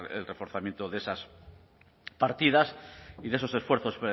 el reforzamiento de esas partidas y de esos esfuerzos